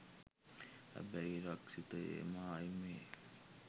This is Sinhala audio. හැබැයි රක්ෂිතයේ මායිමේ